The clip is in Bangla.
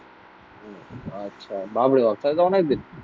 আচ্ছা বাপ রে বাপ তাহলে তো অনেক বেশি।